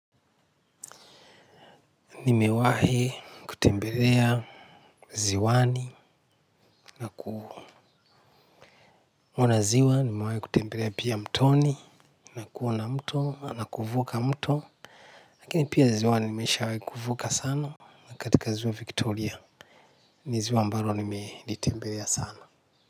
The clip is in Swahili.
Nimewahi kutembelea ziwani na kuona ziwa nimewahi kutembelea pia mtoni nakuona mto na kuvuka mto lakini pia ziwani nimeishawai kuvuka sana katika ziwa victoria ni ziwa ambalo nimelitembelea sana.